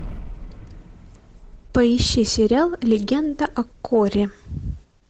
поищи сериал легенда о корре